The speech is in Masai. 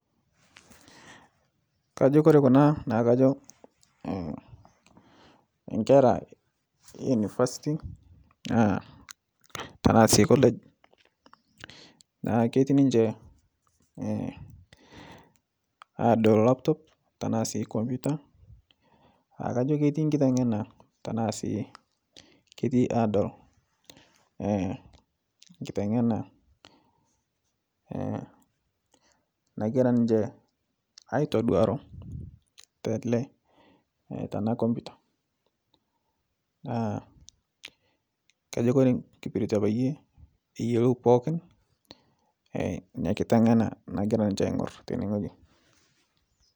Kajo Kore kuna naakajo nkera enivasiti tanasii kolej naa ketii ninye adol laptop tanasii komputa aakajo ketii nkitengena tanasii ketii adol nkitengena nagira ninche aitoduaro tele tana komputa kajo kore nkipiritie payie eyelou pooki nia kitengena nagira niche aing'ur tene ng'oji.